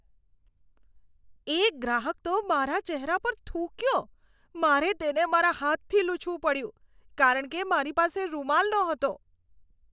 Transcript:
એક ગ્રાહક તો મારા ચહેરા પર થૂંક્યો! મારે તેને મારા હાથથી લૂછવું પડ્યું કારણ કે મારી પાસે રૂમાલ નહોતો.